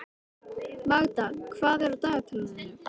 Magda, hvað er á dagatalinu í dag?